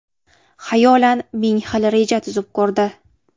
Xayolan ming xil reja tuzib ko‘rdi.